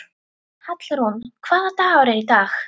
Hallrún, hvaða dagur er í dag?